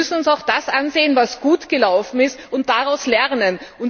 Wir müssen uns auch das ansehen, was gut gelaufen ist, und daraus lernen.